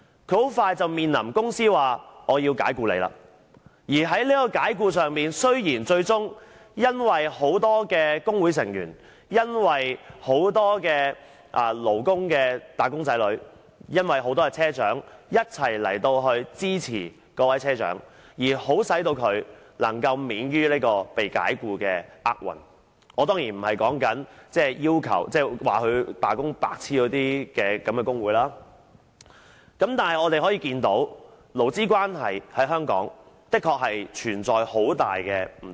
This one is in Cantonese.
她很快便面臨被公司解僱，而雖然最終由於很多工會成員，很多"打工仔女"及車長一同支持葉車長，令她能夠免於被解僱的厄運——我當然不是指那些說她罷工是"白癡"的工會——但我們可以看到，勞資關係在香港的確存在很大的不對等。